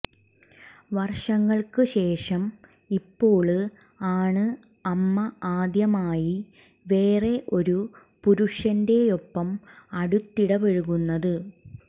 വര്ഷങ്ങള്ക്ക് ശേഷം ഇപ്പോള് ആണ് അമ്മ ആദ്യമായി വേറെ ഒരു പുരുഷന്റെയൊപ്പം അടുത്തിടപഴകുന്നത്